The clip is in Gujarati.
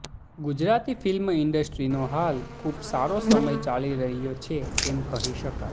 ગુજરાતી ફિલ્મ ઇન્ડસ્ટ્રીનો હાલ ખૂબ સારો સમય ચાલી રહ્યો છે એમ કહી શકાય